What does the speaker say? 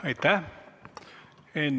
Aitäh!